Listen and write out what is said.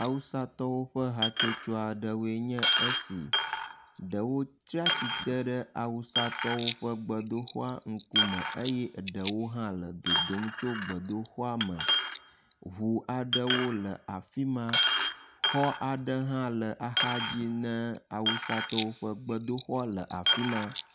Awusatɔwo ƒe hatsotso aɖewoe nye esi. Ɖewo tsi atsitre ɖe Awusatɔwo ƒe gbedoxɔa ŋkume eye ɖewo hã le dodom tso gbedoxɔa me. Ŋu aɖewo le afi ma. Xɔ aɖe hã le axadzi ne awusatɔwo ƒe gbedoxɔ le afi ma.